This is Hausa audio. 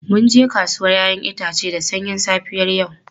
Mun je kasuwar 'ya'yan itace da sanyin safiyar yau.